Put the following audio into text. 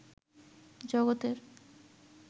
জগতের